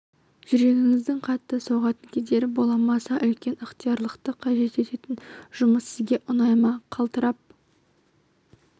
жүрегіңіздің қатты соғатын кездері бола ма аса үлкен ықтиярлықты қажет ететін жұмыс сізге ұнай ма қалтырап